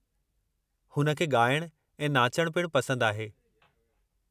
हुन खे ॻाइणु ऐं नाचणु पिणु पसंदि आहे।